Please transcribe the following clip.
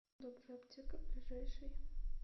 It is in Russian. добрая аптека ближайший